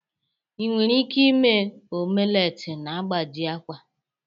Ị nweghị ike ime omelet na-agbaji akwa